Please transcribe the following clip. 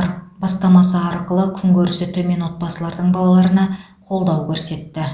ар бастамасы арқылы күнкөрісі төмен отбасылардың балаларына қолдау көрсетті